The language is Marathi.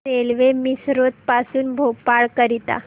रेल्वे मिसरोद पासून भोपाळ करीता